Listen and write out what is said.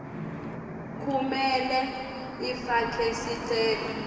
kumele ifake sicelo